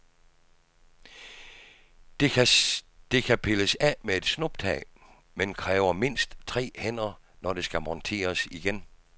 Det kan pilles af med et snuptag, men kræver mindst tre hænder, når det skal monteres igen.